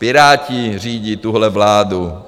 Piráti řídí tuhle vládu.